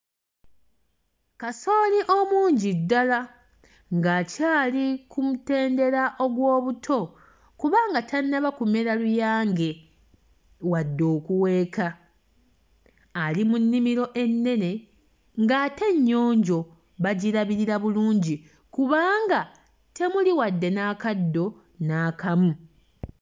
Kasooli omungi ddala ng'akyali ku mutendera ogw'obuto kubanga tannaba kumera luyange, wadde okuweeka. Ali mu nnimiro ennene ng'ate nnyonjo, bagirabirira bulungi kubanga temuli wadde n'akaddo n'akamu.